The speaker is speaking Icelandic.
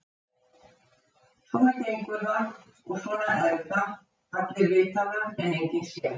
Svona gengur það og svona er það allir vita það en enginn sér það.